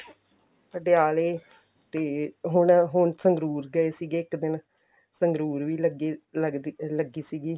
ਪਟਿਆਲੇ ਤੇ ਹੁਣ ਹੁਣ ਸੰਗਰੂਰ ਗਏ ਸੀ ਇੱਕ ਦਿਨ ਸੰਗਰੂਰ ਵੀ ਲੱਗੀ ਲੱਗਦੀ ਲੱਗੀ ਸੀਗੀ